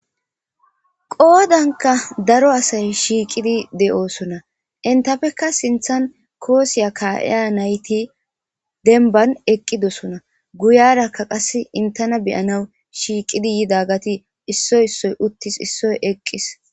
qoodanka daro asay shiiqidi de'oosona entafekka sinthan koosiya kaiya nayti denban eqqidosona guyarakka qass intena beyana shiiqidi yida gati issoy issoy uttis issoy eqqis